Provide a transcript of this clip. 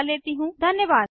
हमसे जुड़ने के लिए धन्यवाद